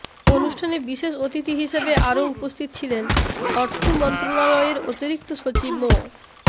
অনুষ্ঠানে বিশেষ অতিথি হিসেবে আরও উপস্থিত ছিলেন অর্থ মন্ত্রণালয়ের অতিরিক্ত সচিব মো